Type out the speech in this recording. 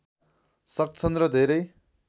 सक्छन् र धेरै